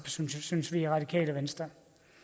synes vi i radikale venstre